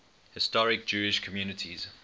historic jewish communities